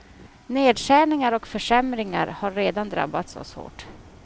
Nedskärningar och försämringar har redan drabbat oss hårt.